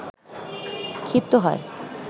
ক্ষিপ্ত হয়